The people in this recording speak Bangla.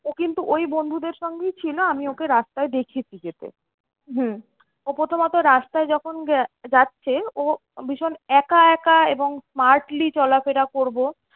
ও কিন্তু ওই বন্ধুদের সঙ্গেই ছিল আমি ওকে রাস্তায় দেখেছি যেতে। ও প্রথমত রাস্তায় যখন যাচ্ছে ও ভীষণ একা একা এবং smartly চলাফেরা করবো